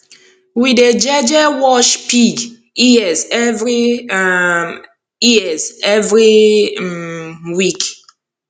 we dey jeje wash pig ears every um ears every um week